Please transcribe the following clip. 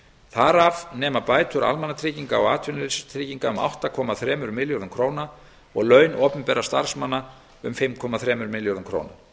þar af nema bætur almannatrygginga og atvinnuleysistrygginga um átta komma þremur milljörðum króna og laun opinberra starfsmanna um fimm komma þremur milljörðum króna